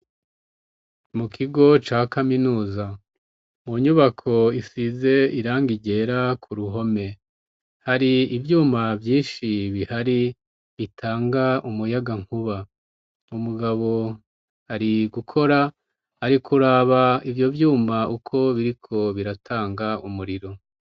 Mukigo ca kaminuza munyubako isize irangi ryera k'uruhome hari ivyuma vyinshi bihari bitanga umuyagankuba. Umugabo ari gukora arikuraba ivyovyuma uko biriko biratanga umuriro.